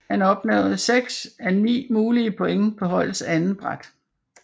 Han opnåede 6 af 9 mulige point på holdets andetbræt